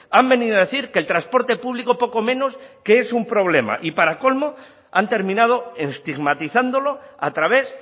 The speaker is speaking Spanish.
han venido a decir que el transporte público poco menos que es un problema y para colmo han terminado estigmatizándolo a través